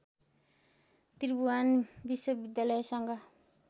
Tribhuvan विश्वविद्यालयसँग